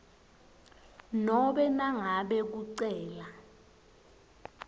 nobe nangabe kucela